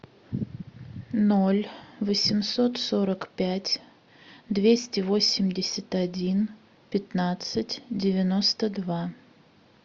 ноль восемьсот сорок пять двести восемьдесят один пятнадцать девяносто два